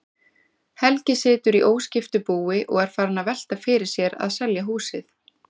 Helgi situr í óskiptu búi og er farinn að velta fyrir sér að selja húsið.